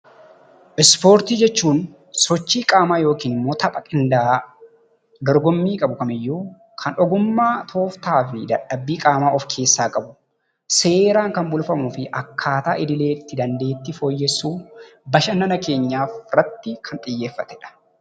Ispoortii jechuun sochii qaamaa yookin ammoo tapha qindaa'aa dorgommii qabu kamiyyuu kan ogummaa, tooftaafi dadhabbii qaamaa ofkeessaa qabu, seeraan kan bulfamuufi akkaataa idileetti dandeettii fooyyessu, bashannana keenya irratti kan xiyyeeffatedha.